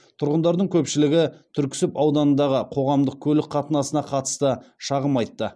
тұрғындардың көпшілігі түрксіб ауданындағы қоғамдық көлік қатынасына қатысты шағым айтты